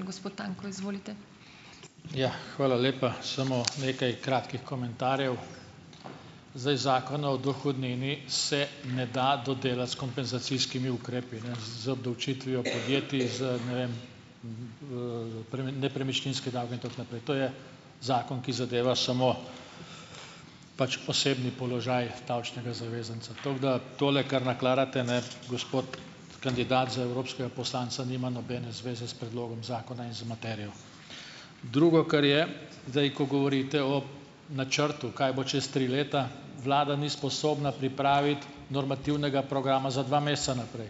Gospod Tanko, izvolite. Ja, hvala lepa. Samo nekaj kratkih komentarjev. Zdaj, Zakona o dohodnini se ne da dodelati s kompenzacijskimi ukrepi, ne. Z obdavčitvijo podjetij z, ne vem, nepremičninske davke in tako naprej. To je zakon, ki zadeva samo pač osebni položaj davčnega zavezanca. Tako da tole, kar nakladate, ne, gospod kandidat za evropskega poslanca, nima nobene zveze s predlogom zakona in z materijo. Drugo, kar je, zdaj, ko govorite o načrtu, kaj bo čez tri leta. Vlada ni sposobna pripraviti normativnega programa za dva meseca naprej.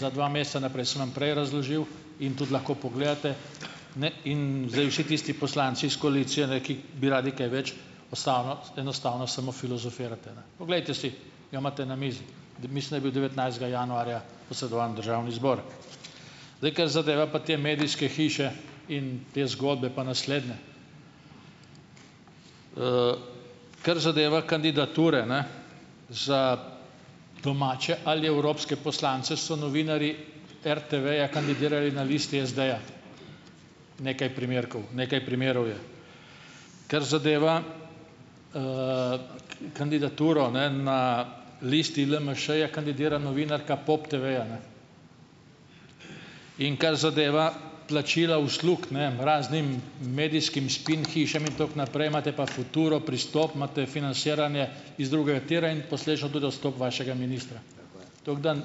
Za dva meseca naprej. Sem vam prej razložil. In tudi lahko pogledate. Ne, in zdaj vsi tisti poslanci s koalicije, ne, ki bi radi kaj več, enostavno samo filozofirate, ne. Poglejte si, ga imate na mizi. Mislim, da je bil devetnajstega januarja posredovan v državni zbor. Zdaj, kar zadeva pa te medijske hiše in te zgodbe, pa naslednje. Kar zadeva kandidature, ne, za domače ali evropske poslance, so novinarji RTV-ja kandidirali na listi SD-ja. Nekaj primerkov, nekaj primerov je. Kar zadeva, kandidaturo, ne, na listi LMŠ-ja kandidira novinarka POP TV-ja, ne. In kar zadeva plačila uslug, ne, raznim medijskim spin hišam in tako naprej, imate pa Futuro, Pristop, imate financiranje iz drugega tira in posledično tudi odstop vašega ministra. Tako je. Tako da,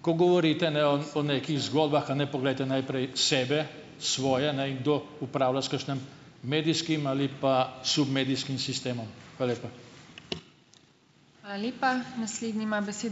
ko govorite ne o nekih zgodbah, a ne, poglejte najprej sebe, svoje, ne, in kdo upravlja s kakšnim medijskim ali pa submedijskim sistemom. Hvala lepa. Hvala lepa. Naslednji ima ...